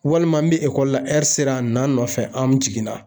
Walima ni ekɔli la sera na n nɔfɛ an jiginna